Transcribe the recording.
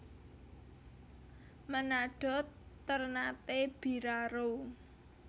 Menado Ternate Biraro